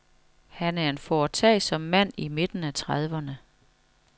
Han er en foretagsom mand i midten af trediverne.